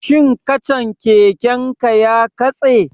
Shin kacan keken ka ya katse?